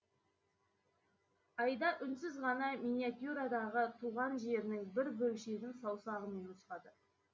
айда үнсіз ғана миниатюрадағы туған жерінің бір бөлшегін саусағымен нұсқады